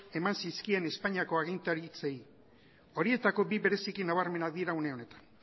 eman zizkien espainiako agintaritzei horietako bi bereziki nabarmenak dira une honetan